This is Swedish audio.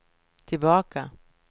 tillbaka